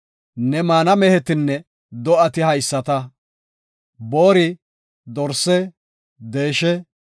Ne maana mehetinne do7ati haysata; boori, dorse, deeshe,